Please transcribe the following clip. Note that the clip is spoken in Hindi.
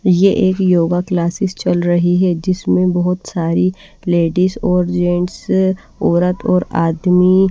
ये एक योगा क्लासेस चल रही है जिसमें बहुत सारी लेडीज और जेंट्स औरत और आदमी--